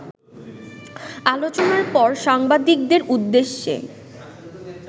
আলোচনার পর সাংবাদিকদের উদ্দেশ্যে